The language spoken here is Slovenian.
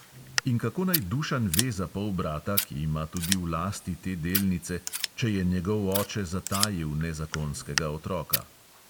In kako naj dušan ve za polbrata, ki ima tudi v lasti te delnice, če je njegov oče zatajil nezakonskega otroka?